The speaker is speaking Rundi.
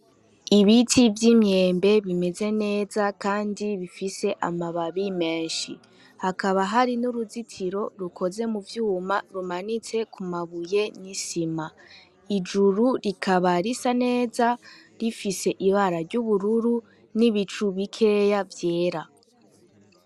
Ibiti vy'imyembe bimeze neza, kandi bifise amababi menshi hakaba hari n'uruzitiro rukoze mu vyuma rumanitse ku mabuye nyisima ijuru rikaba risa neza rifise ibara ry'ubururu n'ibicu bikeya vyera.